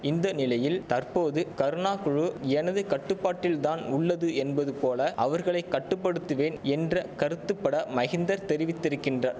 இந்த நிலையில் தற்போது கருணா குழு எனது கட்டுப்பாட்டில்தான் உள்ளது என்பது போல அவர்களை கட்டுப்படுத்துவேன் என்ற கருத்துப்பட மகிந்தர் தெரிவித்திருக்கின்றா